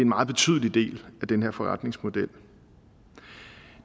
meget betydelig del af den her forretningsmodel